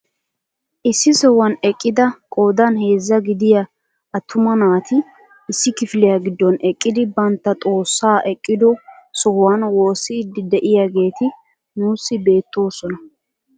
Issi sohuwaan eqqida qoodan heezzaa gidiyaa attuma naati issi kifiliyaa giddon eqqidi bantta xoossaa eqqido sohuwaan woossiidi de'iyaageti nuusi beettoosona.